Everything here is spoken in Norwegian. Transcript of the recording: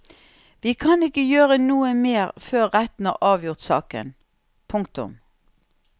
Vi kan ikke gjøre noe mer før retten har avgjort saken. punktum